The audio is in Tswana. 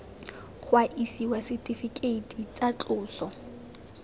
ga isiwa setifikeiti tsa tloso